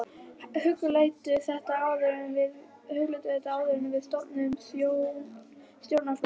Hugleiddu þetta áður en við stofnum stjórnmálaflokkinn!